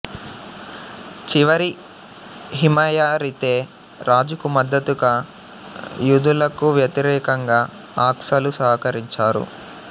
చివరి హిమయరితే రాజుకు మద్దతుగా యూదులకు వ్యతిరేకంగా అక్సాలు సహకరించారు